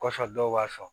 Kɔsan dɔw b'a sɔn